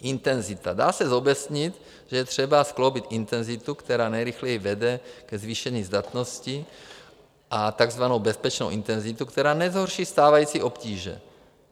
Dá se zobecnit, že je třeba skloubit intenzitu, která nejrychleji vede ke zvýšení zdatnosti, a takzvanou bezpečnou intenzitu, která nezhorší stávající obtíže.